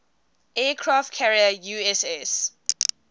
aircraft carrier uss